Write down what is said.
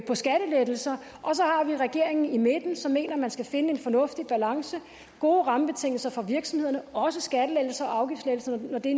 skattelettelser og så har vi regeringen i midten som mener at man skal finde en fornuftig balance gode rammebetingelser for virksomhederne også skatte og afgiftslettelser når det